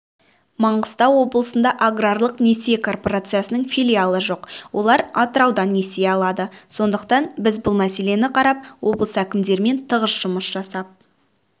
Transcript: маңғыстау облысында аграрлық несие корпорациясының филиалы жоқ олар атыраудан несие алады сондықтан біз бұл мәселені қарап облыс әкімдерімен тығыз жұмыс жасап